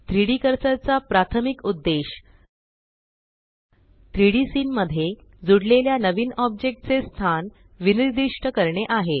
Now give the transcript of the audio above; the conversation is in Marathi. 3Dकर्सर चा प्राथमिक उद्देश 3Dसीन मध्ये जुडलेल्या नवीन ऑब्जेक्ट चे स्थान विनिर्दिष्ट करणे आहे